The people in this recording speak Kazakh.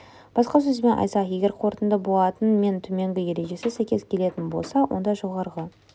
басқа сөзбен айтсақ егер қорытынды болатын мен төменгі ережесі сәйкес келетін болса онда жоғарғы